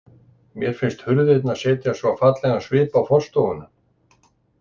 Mér finnst hurðirnar setja svo fallegan svip á forstofuna.